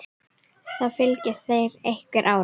Það fylgir þeim einhver ára.